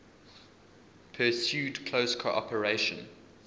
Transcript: pursued close cooperation